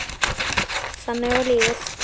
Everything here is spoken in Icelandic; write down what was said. Þannig var lífið.